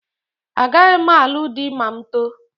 Agaghị m alụ di ma m too